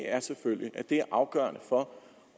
er selvfølgelig at det er afgørende for